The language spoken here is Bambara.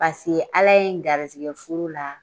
Paseke ala ye n garizɛgɛ furu la